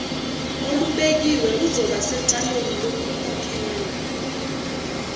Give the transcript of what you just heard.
olubekiwe uzobasecaleni lokukhokhela